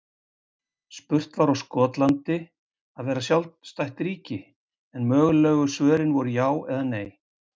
Spurt var á Skotland að vera sjálfstætt ríki? en mögulegu svörin voru já eða nei.